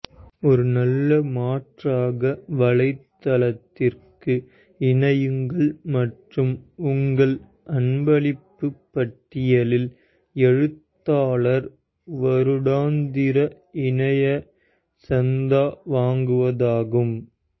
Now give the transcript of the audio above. ஒரு நல்ல மாற்றாக வலைத்தளத்திற்கு இணையுங்கள் மற்றும் உங்கள் அன்பளிப்பு பட்டியலில் எழுத்தாளர் வருடாந்திர இணைய சந்தா வாங்குவதாகும்